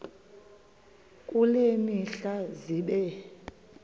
kule mihla zibe